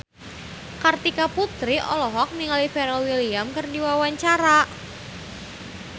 Kartika Putri olohok ningali Pharrell Williams keur diwawancara